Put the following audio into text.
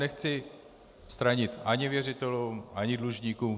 Nechci stranit ani věřitelům ani dlužníkům.